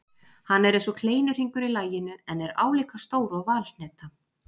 Hann er eins og kleinuhringur í laginu en er álíka stór og valhneta.